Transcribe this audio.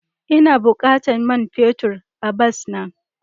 Ina bukatan man fetur a bas na.